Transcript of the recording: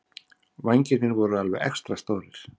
Vængirnir voru alveg extra stórir.